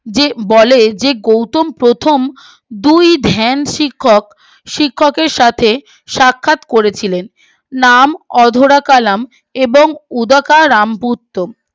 যে বলে যে গৌতম প্রথম দুই ধ্যান শিক্ষক শিক্ষকের সাথে সাক্ষাৎ করেছিলেন নাম অধরা কালাম এবং উদা কার রাম পুর্তুর